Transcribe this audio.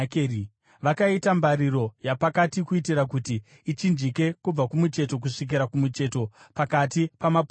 Vakaita mbariro yapakati kuitira kuti ichinjike kubva kumucheto kusvikira kumucheto pakati pamapuranga.